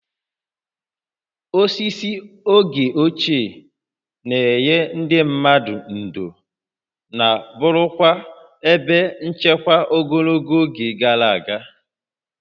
Osisi oge ochie na-enye ndị mmadụ ndò na ma bụrụkwa ebe nchekwa ogologo oge gara aga